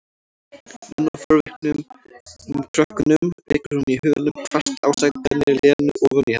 Nonna og forvitnum krökkunum, rekur hún í huganum hvasst ásakanir Lenu ofan í hana.